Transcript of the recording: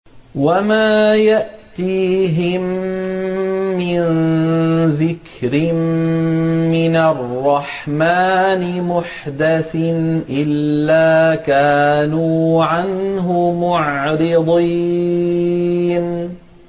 وَمَا يَأْتِيهِم مِّن ذِكْرٍ مِّنَ الرَّحْمَٰنِ مُحْدَثٍ إِلَّا كَانُوا عَنْهُ مُعْرِضِينَ